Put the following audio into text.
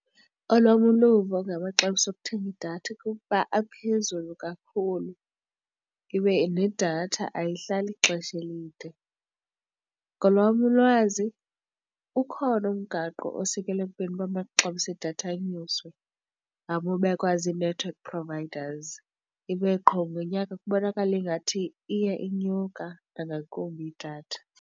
Olwam uluvo ngamaxabiso okuthenga idatha kukuba aphezulu kakhulu. Ibe nedatha ayihlali ixesha elide, ngolwam ulwazi ukhona umgaqo osikelwa ekubeni uba amaxabiso edatha anyuswe obekwazi i-network providers ibe qho ngonyaka kubonakale ingathi iye inyuka nangakumbi idatha.